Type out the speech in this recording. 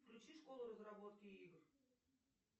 включи школу разработки игр